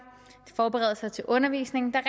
forberede sig til undervisningen der